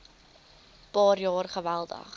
paar jaar geweldig